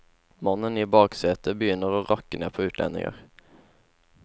Mannen i baksetet begynner å rakke ned på utlendinger.